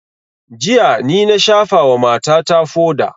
Jiya ni na shafa wa mata ta foda